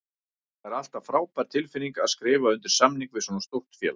Það er alltaf frábær tilfinning að skrifa undir samning við svona stórt félag.